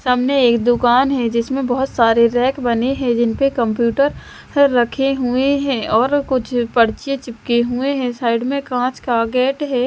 सामने एक दुकान है जिसमें बहुत सारे रैक बने हैं जिन पे कंप्यूटर रखे हुए हैंऔर कुछ पर्चे चिपके हुए हैं साइड में कांच का गेट है।